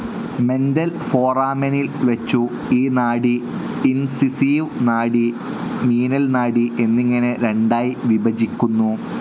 Mental ഫോറാമെനിൽ വെച്ചു ഈ നാഡി ഇൻസൈസിവ്‌ നാഡി, മീനൽ നാഡി എന്നിങ്ങനെ രണ്ടായി വിഭജിക്കുന്നു.